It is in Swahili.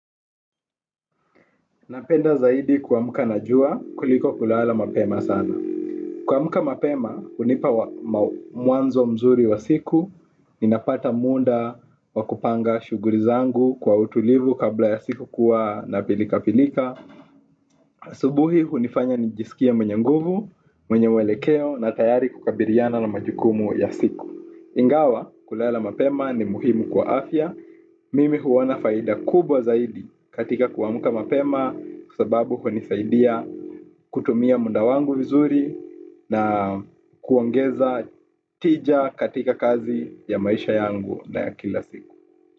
Napenda zaidi kuamka na jua kuliko kulala mapema sana. Kuamka mapema hunipa mwanzo mzuri wa siku. Ninapata muda wa kupanga shughuli zangu kwa utulivu kabla ya siku kuwa na pilikapilika. Asubuhi hunifanya nijisikie mwenye nguvu, mwenye uelekeo na tayari kukabiliana na majukumu ya siku. Ingawa kulala mapema ni muhimu kwa afya. Mimi huona faida kubwa zaidi katika kuamka mapema kwa sababu hunisaidia kutumia muda wangu vizuri na kuongeza tija katika kazi ya maisha yangu na ya kila siku.